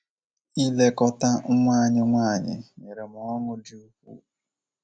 Ilekọta nwa anyị nwanyị nyere m ọṅụ dị ukwuu.